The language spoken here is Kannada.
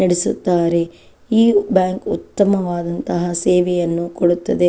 ನಡೆಸುತ್ತಾರೆ ಈ ಬ್ಯಾಂಕ್ ಉತ್ತಮವಾದ ಸೇವೆಯನ್ನು ಕೊಡುತ್ತದೆ.